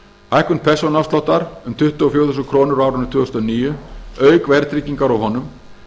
hækkun persónuafsláttar um tuttugu og fjögur þúskr á árinu tvö þúsund og níu auk verðtryggingar á honum